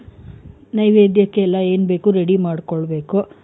ನೈವೇದ್ಯಕ್ಕೆಲ್ಲ ಏನ್ ಬೇಕು ready ಮಾಡ್ಕೊಳ್ಬೇಕು.